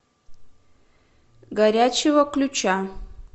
горячего ключа